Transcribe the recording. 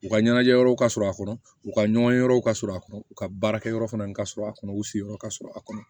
U ka ɲɛnajɛ yɔrɔw ka sɔrɔ a kɔnɔ u ka ɲɔgɔn ye yɔrɔw ka sɔrɔ a kɔnɔ u ka baarakɛyɔrɔ fana ka sɔrɔ a kɔnɔ u sigiyɔrɔ ka sɔrɔ a kɔnɔ